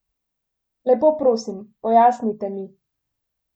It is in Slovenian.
Lepo prosim, pojasnite mi!